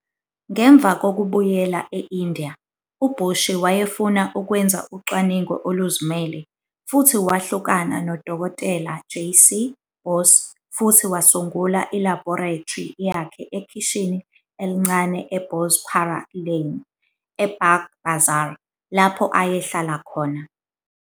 Ngemva kokubuyela e-India, u-Boshi wayefuna ukwenza ucwaningo oluzimele, futhi wahlukana noDkt. JC Bose futhi wasungula ilabhorethri yakhe ekhishini elincane e-Bosepara Lane, e-Baghbazar, lapho ayehlala khona.